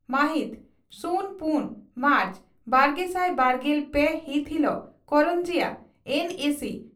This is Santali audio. ᱢᱟᱦᱤᱛ ᱥᱩᱱ ᱯᱩᱱ ᱢᱟᱨᱪ ᱵᱟᱨᱜᱮᱥᱟᱭ ᱵᱟᱨᱜᱮᱞ ᱯᱮ ᱦᱤᱛ ᱦᱤᱞᱚᱜ ᱠᱚᱨᱚᱱᱡᱤᱭᱟᱹ ᱮᱱᱹᱮᱹᱥᱤᱹ